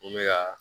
N bɛ ka